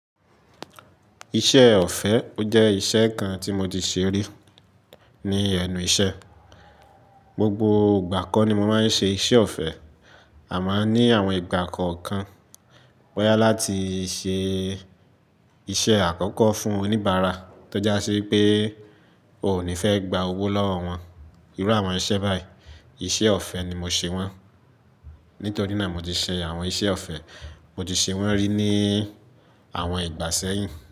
Iṣẹ́ ọ̀fẹ́ jẹ́ iṣẹ́ kan tí mo ti ṣe rí ní ẹnu iṣẹ́. Gbogbo ìgbà kan ni mo máa ń ṣe iṣẹ́ ọ̀fẹ́, àmá ní àwọn ìgbà kọ kan, bó yá láti ṣe iṣẹ́ àkọ́kọ́ fún oníbàárà tó ja ṣi pé o ò ní fẹ́ gba owó lọ́wọ́ wọn. Irú àwọn iṣẹ́ báyìí, iṣẹ́ ọ̀fẹ́ ni mo ṣe wọ́n. Nítorí náà mo ti ṣe àwọn iṣẹ́ ọ̀fẹ́, mo ti ṣe wọ́n rí ní àwọn ìgbà sẹ́yìn.